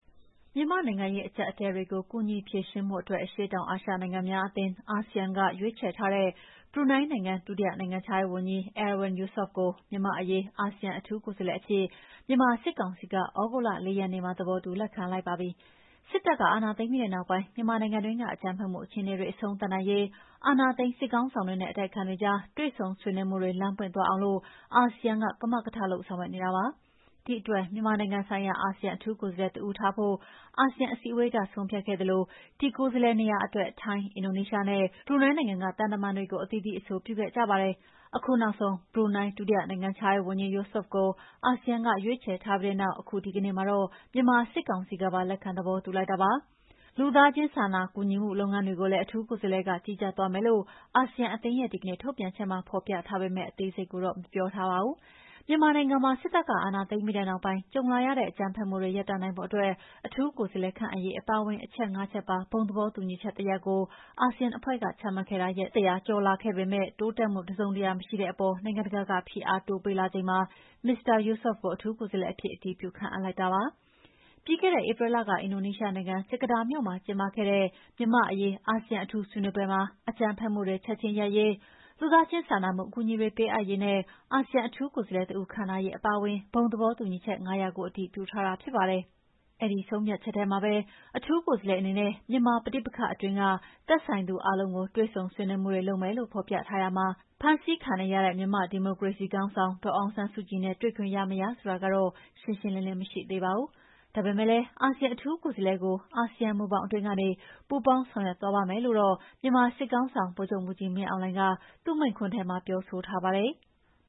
မြန်မာ့နိုင်ငံရေးအကြပ်အတည်းတွေကို ကူညီဖြေရှင်းဖို့အတွက် အရှေ့တောင်အာရှနိုင်ငံများအသင်း(ASEAN)က ရွေးချယ်ထားတဲ့ ဘရူနိုင်းနိုင်ငံ ဒုတိယနိုင်ငံခြားရေး ဝန်ကြီး Erywan Yusof ကို မြန်မာ့အရေးအာဆီယံအထူးကိုယ်စားလှယ်အဖြစ် မြန်မာစစ်ကာင်စီက သြဂုတ်လ ၄ ရက်နေ့မှာ သဘောတူလက်ခံလိုက်ပါပြီ။ စစ်တပ် အာဏာသိမ်းပြီးနောက်ပိုင်း မြန်မာနိုင်ငံတွင်းက အကြမ်းဖက်မှု အခြေအနေတွေ အဆုံးသတ်နိုင်ရေး အာဏာသိမ်းစစ်ခေါင်းဆောင်တွေနဲ့ အတိုက်အခံတွေကြား တွေ့ဆုံဆွေးနွေးမှုတွေ လမ်းပွင့်လာအောင်လို့ အာဆီယံက ကမကထလုပ် ဆောင်ရွက်နေတာပါ။ ဒီအတွက် မြန်မာနိုင်ငံဆိုင်ရာ အာဆီယံအထူးကိုယ်စားလှယ်တဦးထားဖို့ အာဆီယံအစည်းအဝေးက ဆုံးဖြတ်ခဲ့သလို၊ ဒီ ကိုယ်စားလှယ်နေရာအတွက် ထိုင်း အင်ဒိုနီးရှားနဲ့ ဘရူနိုင်းနိုင်ငံက သံတမန်တွေကို အသီးသီးအဆိုပြုခဲ့ကြပါတယ်။ အခုနောက်ဆုံး ဘရူးနိုင်း ဒုနိုင်ငံခြားရေးဝန်ကြီး Erywan Yusof ကို အာဆီယံက ရွေးချယ်ထားပြီးနောက်၊ အခု ဒီကနေ့မှာတော့ မြန်မာစစ်ကောင်စီကပါ လက်ခံသဘောတူလိုက်တာပါ။ လူသားချင်းစာနာကူညီမှု လုပ်ငန်းတွေကိုလည်း အထူးကိုယ်စားလှယ်က ကြီးကြပ်သွားမယ်လို့ အာဆီယံအသင်းရဲ့ ဒီကနေ့ထုတ်ပြန်ချက်မှာ ဖော်ပြထားပေမဲ့ အသေးစိတ်ကိုတော့ ဖော်ပြထားခြင်းမရှိပါဘူး။ မြန်မာနိုင်ငံမှာ စစ်တပ်က အာဏာသိမ်းပြီးနောက်ပိုင်း ကြုံလာရတဲ့အကြမ်းဖက်မှုတွေ ရပ်တန့်နိုင်ဖို့အတွက် အထူးကိုယ်စားလှယ် ခန့်အပ်ရေး အပါအဝင် အချက် ၅ ချက်ပါ ဘုံသဘောတူညီချက်တရပ်ကို အာဆီယံအဖွဲ့က ချမှတ်ခဲ့တာ ရက်ပိုင်း ၁၀၀ ကျော်ကြာလာခဲ့ပေမဲ့ တိုးတက်မှု တစုံတရာ မရှိတဲ့အပေါ် နိုင်ငံတကာက ဖိအားတိုးပေးလာနေချိန်မှာ မစ္စတာ Yusof ကို အထူးကိုယ်စားလှယ်အဖြစ် အတည်ပြု ခန့်အပ်လိုက်တာဖြစ်ပါတယ်။ ပြီးခဲ့တဲ့ဧပြီလက အင်ဒိုနီးရှားနိုင်ငံ ဂျကာတာမြို့မှာကျင်းပတဲ့ ကျင်းပတဲ့ မြန်မာ့အရေး အာဆီယံ အထူး ဆွေးနွေးပွဲမှာ အကြမ်းဖက်မှုတွေ ချက်ချင်းရပ်ရေး၊ လူသားချင်းစာနာမှု အကူအညီတွေ ပေးအပ်ရေးနဲ့ အာဆီယံ အထူးကိုယ်စားလှယ်တဦး ခန့်ထားရေး အပါအဝင် ဘုံသဘောတူညီချက် ၅ ရပ်ကို အတည်ပြုထားတာ ဖြစ်ပါတယ်။ အဲဒီဆုံးဖြတ်ချက်ထဲမှာပဲ အထူးကိုယ်စားလှယ်အနေနဲ့ မြန်မာပဋိပက္ခအတွင်းက သက်ဆိုင်သူအားလုံးကို တွေ့ဆုံဆွေးနွေးမှုတွေလုပ်မယ်လို့ ဖော်ပြထားရာမှာ၊ ဖမ်းဆီးခံနေရတဲ့ မြန်မာ့ဒီမိုကရေစီခေါင်းဆောင်ဒေါ်အောင်ဆန်းစုကြည်နဲ့ တွေ့ခွင့်ရမရဆိုတာကတော့ ရှင်းရှင်းလင်းလင်းမရှိသေးပါဘူး။ ဒါပေမယ့် အာဆီယံအထူးကိုယ်စားလှယ်ကို အာဆီယံမူဘောင်အတွင်းကနေ ပူးပေါင်းဆောင်ရွက်သွားပါ့မယ်လို့တော့ မြန်မာစစ်ခေါင်းဆောင်ဗိုလ်ချုပ်မှုးကြီးမင်းအောင်လှိုင်က သူ့မိန့်ခွန်းထဲ ပြောဆိုထားပါတယ်။